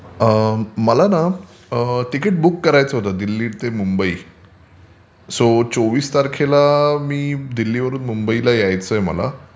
मला न ticket book करायचं होतं दिल्ली ते मुंबई. सो चोवीस तारखेला दिल्लीवरून मुंबईला यायचं आहे मला.